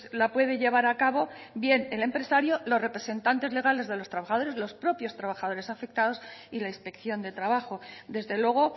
la puede llevar a cabo bien el empresario los representantes legales de los trabajadores los propios trabajadores afectados y la inspección de trabajo desde luego